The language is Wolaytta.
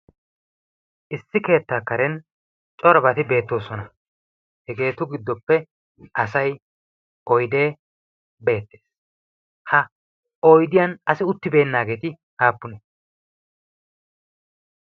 issi keettaa karen corobati beettoosona. hegeetu giddoppe asai oidee beettees. ha oydiyan asi uttibeennaageeti aappunee?